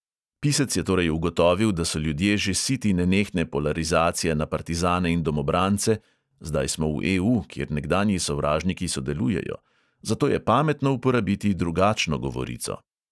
Pisec je torej ugotovil, da so ljudje že siti nenehne polarizacije na partizane in domobrance (zdaj smo v EU, kjer nekdanji sovražniki sodelujejo), zato je pametno uporabiti drugačno govorico.